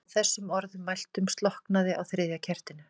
Að þessum orðum mæltum slokknaði á þriðja kertinu.